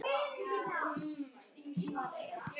Í rúminu sínu, svara ég.